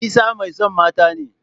Isah mai son mata ne.